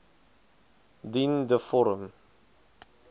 dien de vorm